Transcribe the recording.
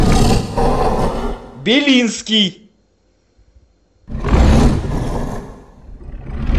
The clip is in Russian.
белинский